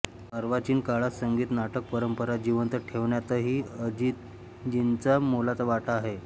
अर्वाचीन काळात संगीत नाटक परंपरा जिवंत ठेवण्यातही अजितजींचा मोलाचा वाटा आहे